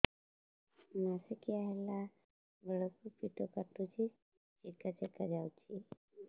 ମାସିକିଆ ହେଲା ବେଳକୁ ପେଟ କାଟୁଚି ଚେକା ଚେକା ଯାଉଚି